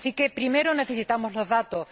Así que primero necesitamos los datos.